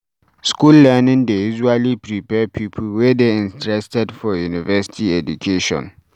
School learning dey usually prepare pipo wey dey interested for university education